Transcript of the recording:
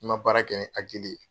N ka baara kɛ in hakili ye.